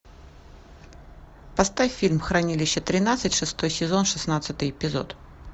поставь фильм хранилище тринадцать шестой сезон шестнадцатый эпизод